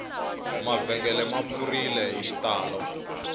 mavhengele ma pfurile hi xitalo